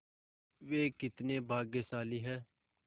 वे कितने भाग्यशाली हैं